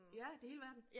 Ja det hele verden